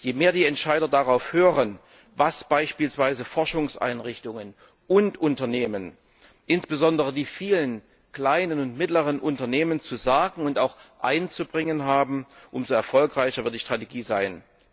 Je mehr die Entscheider darauf hören, was beispielsweise Forschungseinrichtungen und Unternehmen, insbesondere die vielen kleinen und mittleren Unternehmen, zu sagen und auch einzubringen haben, umso erfolgreicher wird die Strategie sein.